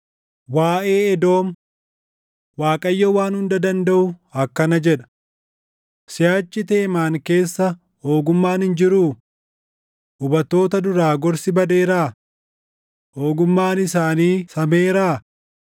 Waaʼee Edoom: Waaqayyo Waan Hunda Dandaʼu akkana jedha: “Siʼachi Teemaan keessa ogummaan hin jiruu? Hubattoota duraa gorsi badeeraa? Ogummaan isaanii sameeraa?